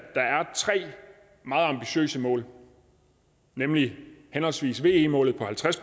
tre meget ambitiøse mål nemlig henholdsvis ve målet på halvtreds